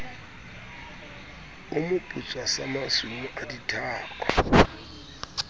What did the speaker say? moputswa sa masumu wa dithako